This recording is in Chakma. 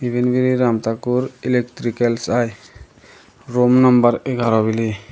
iben biley ram takur eliktricals aai rum nambar egarah biley.